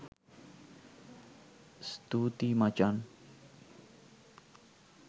ස්තුතියි මචන්